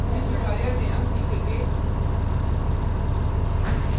इस tutorial में हम सीखेंगे